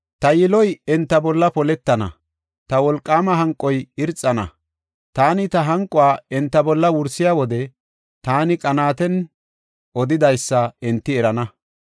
“Ta yiloy enta bolla poletana; ta wolqaama hanqoy irxana. Taani ta hanquwa enta bolla wursiya wode taani qanaaten odidaysa enti erana.